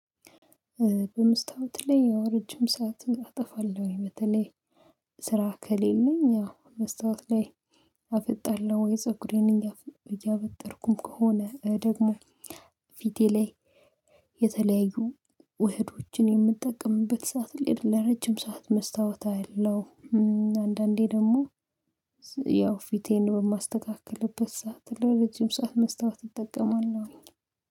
በመስታወት ላይ ያው ረጅም ሰዓት አጠፋለሁ። በተለይ ስራ ከሌለኝ አዎ መስታወት ላይ አፈጣለሁ ወይ ፀጉሬን እያበጠርኩ ከሆነ ደግሞ ፊቴ ላይ የተለያዩ ውህዶችን የምጠቀምበት ሰዓት ላይ ለረጅም ሰዓት መስታወት አያለው። አንዳንዴ ደግሞ ያው ፊቴን በማስተካክልበት ሰዓት ለረጅም ሰዓት መስታወት እጠቀማለሁኝ